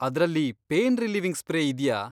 ಅದ್ರಲ್ಲಿ pain relieving spray ಇದ್ಯಾ?